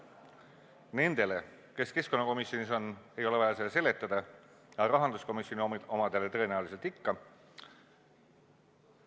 Nendele, kes keskkonnakomisjonis on, ei ole vaja seda seletada, aga rahanduskomisjoni omadele tõenäoliselt ikka on vaja.